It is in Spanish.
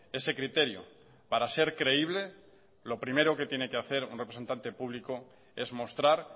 ese criterio para ser creíble lo primero que tiene que hacer un representante público es mostrar